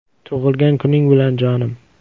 Tug‘ilgan kuning bilan, jonim”.